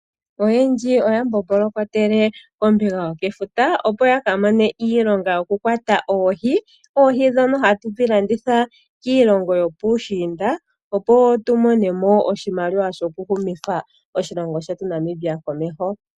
Oyendji oya mbombolokotele kombinga yefuta opo ya ka mone iilonga yoku kwata oohi, oohi ndhono hatu dhi landitha kiilongo yopuushinda opo tu mone mo oshimaliwa shoku humitha oshilongo shetu Namibia komeho.